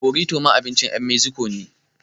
Borito ma abincin ƴan meziko ne